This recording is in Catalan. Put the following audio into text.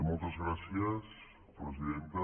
moltes gràcies presidenta